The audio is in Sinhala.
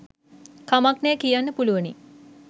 කමක් නෑ කියන්න පුළුවනි